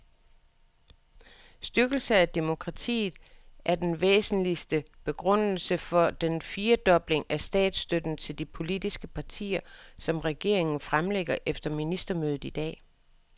Styrkelse af demokratiet er den væsentligste begrundelse for den firedobling af statsstøtten til de politiske partier, som regeringen fremlægger efter ministermødet i dag.